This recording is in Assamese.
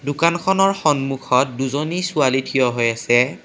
দোকানখনৰ সন্মুখত দুজনী ছোৱালী থিয় হৈ আছে।